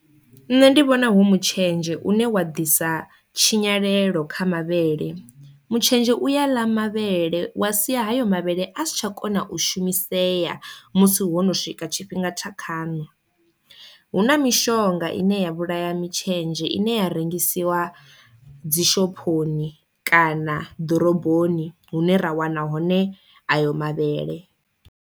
Nṋe ndi vhona hu mutshenzhe une wa ḓisa tshinyalelo kha mavhele, mutshetshe uya ḽa mavhele wa sia hayo mavhele a si tsha kona u shumisea musi ho no swika tshifhinga tsha khano, hu na mishonga ine ya vhulaya mitshenzhe ine ya rengisiwa dzi shophoni kana ḓoroboni hune ra wana hone ayo mavhele.